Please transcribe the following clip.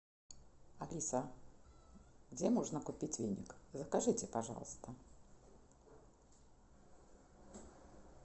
алиса где можно купить веник закажите пожалуйста